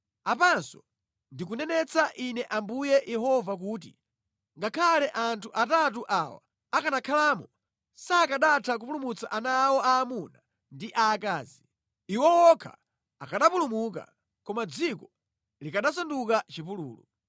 Apanso, ndikunenetsa Ine Ambuye Yehova kuti, ‘Ngakhale anthu atatu awa akanakhalamo, sakanatha kupulumutsa ana awo aamuna ndi aakazi. Iwo okha akanapulumuka, koma dziko likanasanduka chipululu.’